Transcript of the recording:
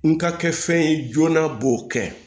N ka kɛ fɛn ye joona b'o kɛ